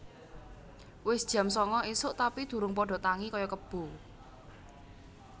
Wis jam sanga isuk tapi durung podo tangi koyo kebo